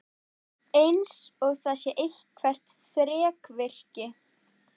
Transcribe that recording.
Eins og það sé eitthvert þrekvirki.